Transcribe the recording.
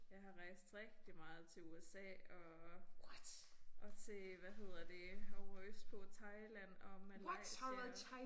Jeg har rejst rigtig meget til USA og og til hvad hedder det ovre østpå Thailand og Malaysia